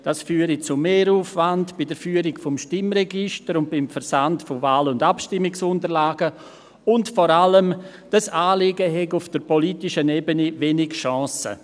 das führe zu Mehraufwand bei der Führung des Stimmregisters und beim Versand von Wahl- und Abstimmungsunterlagen, und vor allem: Dieses Anliegen habe auf der politischen Ebene wenig Chancen.